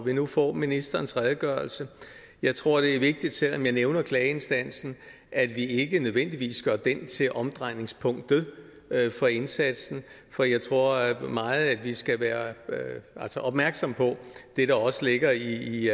vi nu får ministerens redegørelse jeg tror det er vigtigt selv om jeg nævner klageinstansen at vi ikke nødvendigvis gør den til omdrejningspunktet for indsatsen for jeg tror meget at vi skal være opmærksomme på det der også ligger i